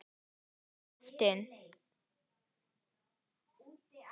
Og óttinn.